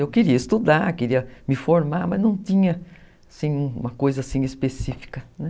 Eu queria estudar, queria me formar, mas não tinha, assim, uma coisa assim específica, né?